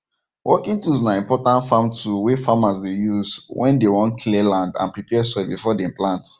working tools na important farm tool wey farmers dey use when dem wan clear land and prepare soil before dem plant